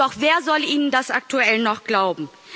Doch wer soll Ihnen das aktuell noch glauben?